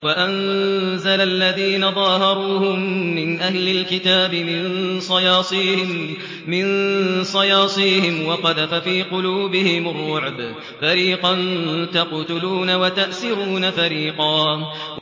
وَأَنزَلَ الَّذِينَ ظَاهَرُوهُم مِّنْ أَهْلِ الْكِتَابِ مِن صَيَاصِيهِمْ وَقَذَفَ فِي قُلُوبِهِمُ الرُّعْبَ فَرِيقًا تَقْتُلُونَ وَتَأْسِرُونَ فَرِيقًا